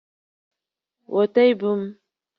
Weta ibu m!